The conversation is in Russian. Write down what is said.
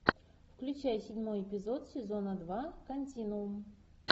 включай седьмой эпизод сезона два континуум